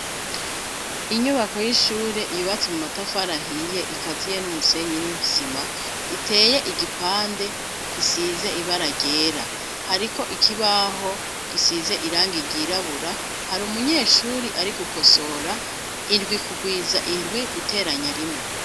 Inyubako y'ishure yubatse mu matafari ahiye ikaziye n'umusenyi n'isima; riteye igipande gisize ibara ryera. Hariko ikibaho gisize irangi ryirabura; hari umunyeshuri ari gukosora indwi kugwiza indwi guteranya rimwe.